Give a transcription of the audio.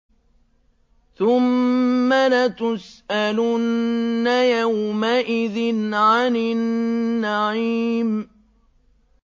ثُمَّ لَتُسْأَلُنَّ يَوْمَئِذٍ عَنِ النَّعِيمِ